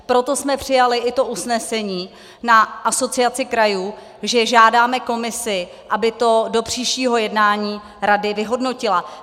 Proto jsme přijali i to usnesení na Asociaci krajů, že žádáme komisi, aby to do příštího jednání rady vyhodnotila.